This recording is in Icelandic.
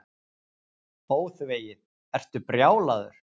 ÓÞVEGIÐ, ertu brjálaður.